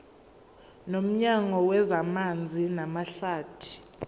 nomnyango wezamanzi namahlathi